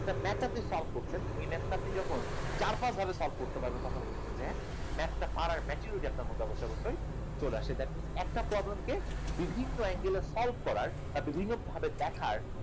একটা maths আপনি solve করছেন math টা যখন চার পাঁচ ভাবে solve করতে পারবেন তখন বুঝবেন যে math টা পাওয়ার maturity আপনার মধ্যে অবশ্যই অবশ্যই চলে আসছে that means একটা problem কে বিভিন্ন angle এ solve করার বিভিন্ন ভাবে দেখার